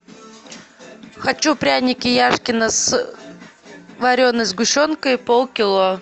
хочу пряники яшкино с вареной сгущенкой полкило